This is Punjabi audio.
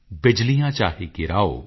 ਬਿਜਲੀਆਂ ਚਾਹੇ ਗਿਰਾਓ